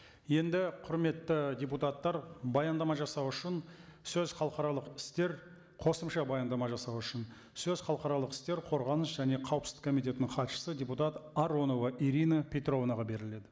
енді құрметті депутаттар баяндама жасау үшін сөз халықаралық істер қосымша баяндама жасау үшін сөз халықаралық істер қорғаныс және қауіпсіздік комитетінің хатшысы депутат аронова ирина петровнаға беріледі